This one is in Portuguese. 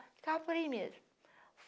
Ficava por aí mesmo.